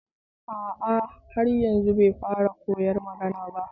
A a har yanzu bai fara koyon magana ba